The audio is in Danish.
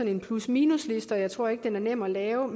en plusminus liste jeg tror ikke den er nem at lave